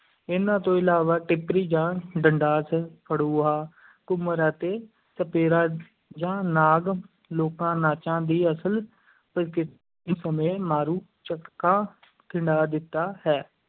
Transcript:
ਇਹਨਾਂ ਤੋਂ ਇਲਾਵਾ ਟਿੱਪਰੀ ਜਾਂ ਡੰਡਾਸ, ਫੜੂਹਾ, ਘੁੰਮਰ ਅਤੇ ਸਪੇਰਾ ਜਾਂ ਨਾਗ ਲੋਕਾਂ-ਨਾਚਾਂ ਦੀ ਅਸਲ ਪ੍ਰਕਿਰਤੀ ਸਮੇਂ ਮਾਰੂ ਝੱਖੜਾਂ ਖਿੰਡਾ ਦਿੱਤਾ ਹੈ।